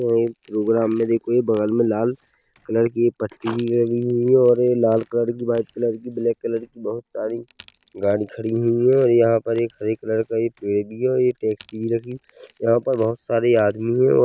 वो एक प्रोग्राम में देखिए बगल में लाल कलर की पट्टी भी लगी हुई है और ये लाल कलर की व्हाइट कलर की ब्लैक कलर की बहोत सारी गाड़ी खड़ी हुई है और यहाँ पर एक हरे कलर का एक पेड़ भी है और ये टैक्सी भी लगी है यहाँ पर बहोत सारे आदमी है और --